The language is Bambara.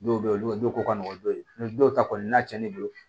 Dɔw bɛ yen olu ko ka nɔgɔn don dɔw ta kɔni na cɛn ne bolo